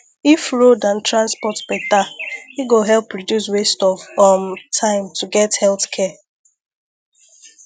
if road and transport better e go help reduce waste of um time to get health care